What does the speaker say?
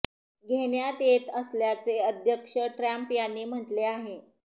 घेण्यात येत असल्याचे अध्यक्ष ट्रम्प यांनी म्हटले आहे